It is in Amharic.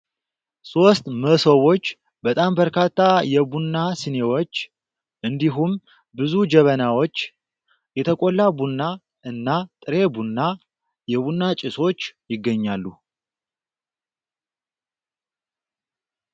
ሶስት መሰቦች በጣም በርካታ የቡና ሲኒዎች እንዲሁም ብዙ ጀበናዎች ፣ የተቆላ ቡና እና ጥሬ ቡና ፣ የቡና ጭሶች ይገኛሉ ።